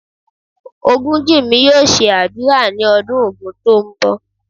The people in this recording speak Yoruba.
Ogunjinmi yóò ṣe ádùrá ní ọdún Ògun tí ń bọ̀.